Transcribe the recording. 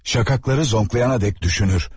Şakakları zonqlayana dek düşünür.